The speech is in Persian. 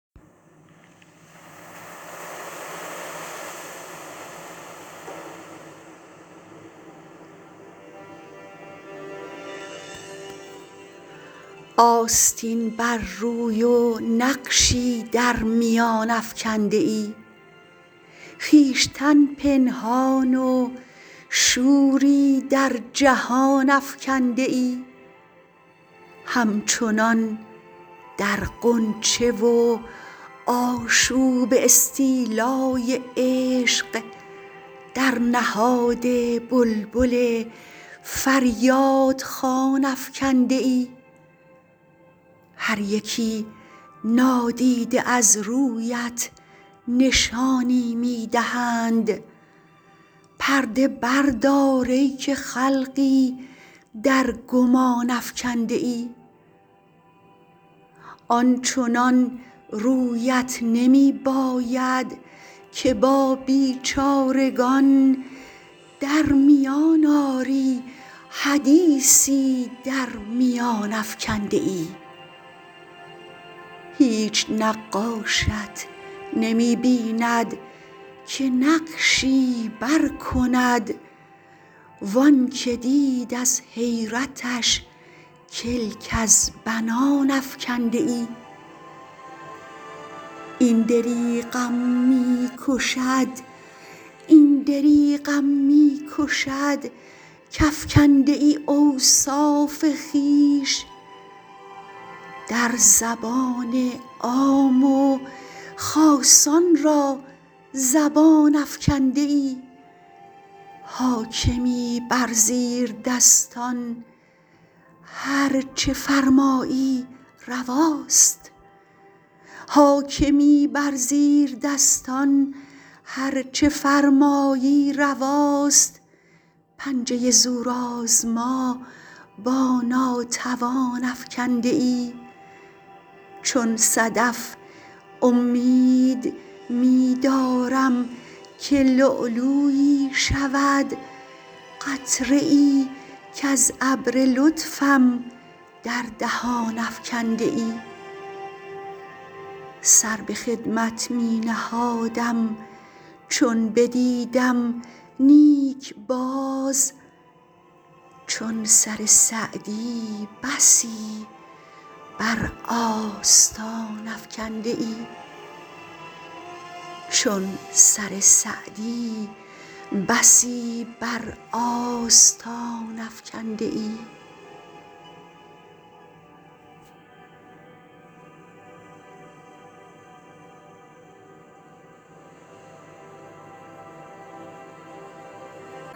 آستین بر روی و نقشی در میان افکنده ای خویشتن پنهان و شوری در جهان افکنده ای همچنان در غنچه و آشوب استیلای عشق در نهاد بلبل فریاد خوان افکنده ای هر یکی نادیده از رویت نشانی می دهند پرده بردار ای که خلقی در گمان افکنده ای آنچنان رویت نمی باید که با بیچارگان در میان آری حدیثی در میان افکنده ای هیچ نقاشت نمی بیند که نقشی بر کند و آنکه دید از حیرتش کلک از بنان افکنده ای این دریغم می کشد کافکنده ای اوصاف خویش در زبان عام و خاصان را زبان افکنده ای حاکمی بر زیردستان هر چه فرمایی رواست پنجه زورآزما با ناتوان افکنده ای چون صدف امید می دارم که لؤلؤیی شود قطره ای کز ابر لطفم در دهان افکنده ای سر به خدمت می نهادم چون بدیدم نیک باز چون سر سعدی بسی بر آستان افکنده ای